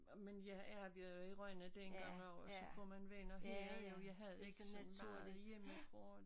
Og men jeg har været i Rønne dengang også og så får man venner her jo jeg havde ikke så meget hjemmefra